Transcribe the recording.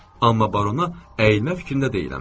Amma barona əyilmək fikrində deyiləm.